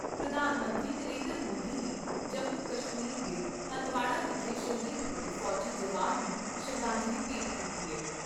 ਪ੍ਰਧਾਨ ਮੰਤਰੀ ਨਰਿੰਦਰ ਮੋਦੀ ਨੇ ਜੰਮੂ ਕਸ਼ਮੀਰ ਦੇ ਹੰਦਵਾੜਾ ਵਿਖੇ ਸ਼ਹੀਦ ਹੋਏ ਫੌਜੀ ਜਵਾਨਾਂ ਨੂੰ ਸ਼ਰਧਾਂਜਲੀ ਭੇਂਟ ਕੀਤੀ ਏ।